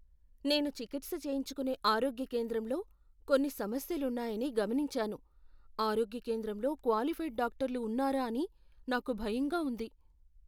నేను చికిత్స చేయించుకునే ఆరోగ్య కేంద్రంలో కొన్ని సమస్యలున్నాయని గమనించాను. ఆరోగ్య కేంద్రంలో క్వాలిఫైడ్ డాక్టర్లు ఉన్నారా అని నాకు భయంగా ఉంది.